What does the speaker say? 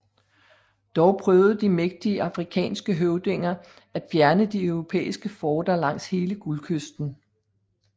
Dog prøvede de mægtige afrikanske høvdinger at fjerne de europæiske forter langs hele Guldkysten